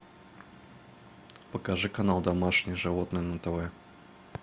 покажи канал домашние животные на тв